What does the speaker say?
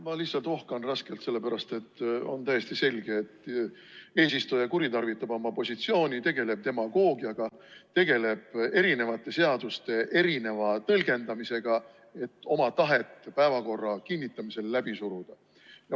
Ma lihtsalt ohkan raskelt, sellepärast et on täiesti selge, et eesistuja kuritarvitab oma positsiooni, tegeleb demagoogiaga, tegeleb erinevate seaduste erineva tõlgendamisega, et oma tahet päevakorra kinnitamisel läbi suruda.